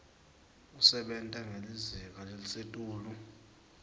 kusebenta ngelizinga lelisetulu